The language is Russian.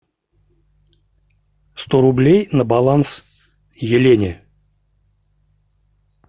сто рублей на баланс елене